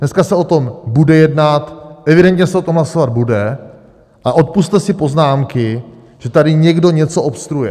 Dneska se o tom bude jednat, evidentně se o tom hlasovat bude a odpusťte si poznámky, že tady někdo něco obstruuje.